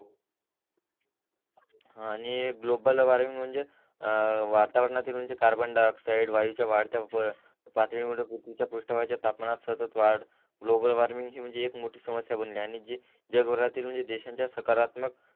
आणि global warming म्हणजे वातावरणातील म्हणजे कार्बन डाईओक्ससाइड वायू च्या वाढत्या पातडी मुळे पृथ्वीच्या पृष्ट भागाच्या तापमानात सतत वाढ ग्लोबल वॉर्मिंग ची म्हणजे एक मोठी समस्या बनली आहे जगभरातील म्हणजे देशाच्या सकारात्मक